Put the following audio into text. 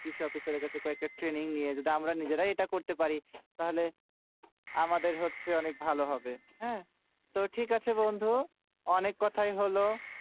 কৃষকের কাছে trening নিয়ে যদি আমরা নিজেরাই এইটা করতে পারি তাহলে আমাদের হচ্ছে অনেক ভালো হবে হুম তো ঠিক আছে বন্ধু অনেক কোথায় হলো